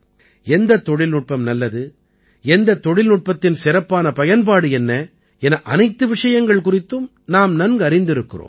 எந்தத் தொழில்நுட்பம் நல்லது எந்தத் தொழில்நுட்பத்தின் சிறப்பான பயன்பாடு என்ன என அனைத்து விஷயங்கள் குறித்தும் நாம் நன்கறிந்திருக்கிறோம்